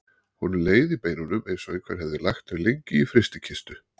Honum leið í beinunum eins og einhver hefði lagt þau lengi í frystikistu.